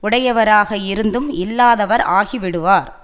உடையவராக இருந்தும் இல்லாதவர் ஆகிவிடுவார்